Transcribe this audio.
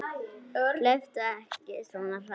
Hlauptu ekki svona hratt.